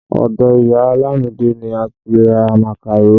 Ọdọ ìyá Lamide ni a ti ra màkàró